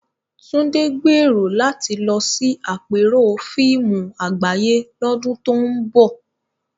Tunde gbèrò láti lọ sí àpérò fíìmù àgbáyé lọ́dún tó ń bọ̀.